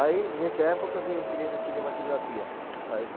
Aí, nessa época que eu entrei na cinematografia, a